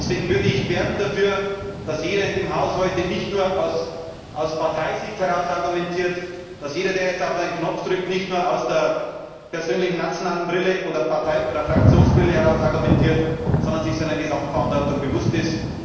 Deshalb würde ich werben dafür, dass jeder in diesem Haus heute nicht nur aus Parteisicht heraus argumentiert, dass jeder, der jetzt auf einen Knopf drückt, nicht nur aus der persönlichen nationalen Brille oder Partei oder Fraktionsbrille heraus argumentiert, sondern sich seiner Gesamtverantwortung bewusst ist.